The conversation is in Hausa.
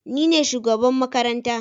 Nine shugaban makaranta